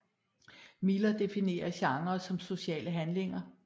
Miller definerer genrer som sociale handlinger